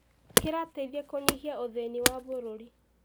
Kĩrateithia kũnyihia ũthĩni wa bũrũri.